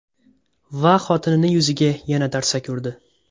Va xotinini yuziga yana tarsaki urdi.